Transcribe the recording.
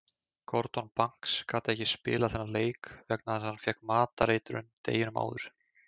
Gordon Banks gat ekki spilað þennan leik vegna þess að hann fékk matareitrun deginum áður.